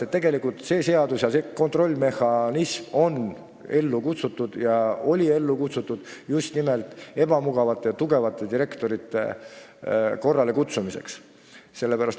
Tegelikult on kontrollimehhanism olnud ellu kutsutud just nimelt ebamugavate ja tugevate direktorite korralekutsumiseks.